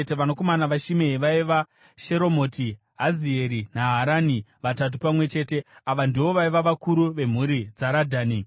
Vanakomana vaShimei vaiva: Sheromoti, Hazieri naHarani, vatatu pamwe chete. Ava ndivo vaiva vakuru vemhuri dzaRadhani.